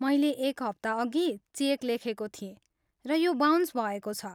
मैले एक हप्ता अघि चेक लेखेको थिएँ, र यो बाउन्स भएको छ।